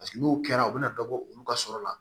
Paseke n'o kɛra u bɛ na dɔ bɔ olu ka sɔrɔ la